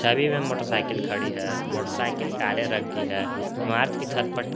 अभी में मोटरसाइकिल खड़ी है मोटरसाइकिल काले रंग की है इमारत की छत पर--